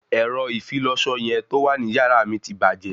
Ẹ̀rọ ìfilọṣọ yẹn tó wà ní yàrá mi ti bàjẹ́